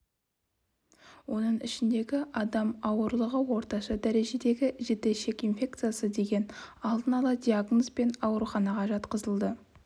оның ішінде адам ауырлығы орташа дәрежедегі жіті ішек инфекциясы деген алдын ала диагнозбен ауруханаға жатқызылды